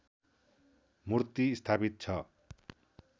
मूर्ति स्थापित छ